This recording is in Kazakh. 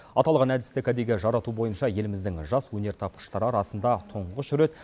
аталған әдісті кәдеге жарату бойынша еліміздің жас өнертапқыштары арасында тұңғыш рет